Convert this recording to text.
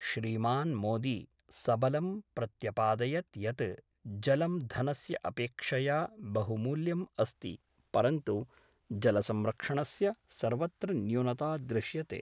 श्रीमान् मोदी सबलं प्रत्यपादयत् यत् जलं धनस्य अपेक्षया बहुमूल्यम् अस्ति परन्तु जलसंरक्षणस्य सर्वत्र न्यूनता दृश्यते।